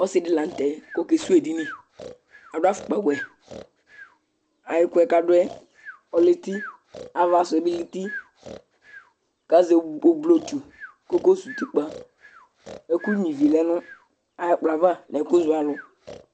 Ɔsɩ dɩ la nʋ tɛ kʋ ɔkesuwu edini Adʋ afʋkpawɛ A ɛkʋ yɛ kʋ adʋ yɛ ɔlɛ eti, ava sʋ yɛ bɩ lɛ eti kʋ azɛ oblotsu kʋ ɔkayɔsuwu utikpǝ Ɛkʋnyuǝ ivi lɛ nʋ ayʋ ɛkplɔ yɛ ava nʋ ɛkʋzɔalʋ